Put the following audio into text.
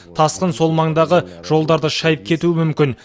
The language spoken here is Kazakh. тасқын сол маңдағы жолдарды шайып кетуі мүмкін